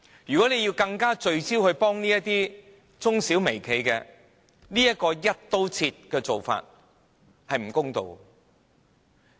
政府若要聚焦地幫助中小微企，這種"一刀切"的做法是不公道的。